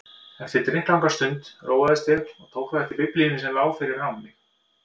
Eftir drykklanga stund róaðist ég og tók þá eftir Biblíunni sem lá fyrir framan mig.